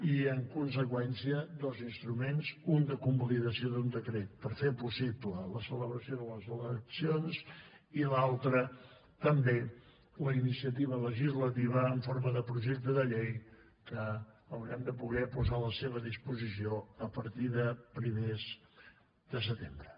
i en conseqüència dos instruments un de convalidació d’un decret per fer possible la celebració de les eleccions i l’altre també la iniciativa legislativa en forma de projecte de llei que haurem de poder posar a la seva disposició a partir de primers de setembre